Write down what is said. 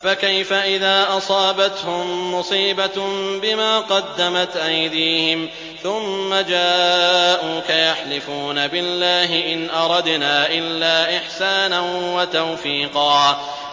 فَكَيْفَ إِذَا أَصَابَتْهُم مُّصِيبَةٌ بِمَا قَدَّمَتْ أَيْدِيهِمْ ثُمَّ جَاءُوكَ يَحْلِفُونَ بِاللَّهِ إِنْ أَرَدْنَا إِلَّا إِحْسَانًا وَتَوْفِيقًا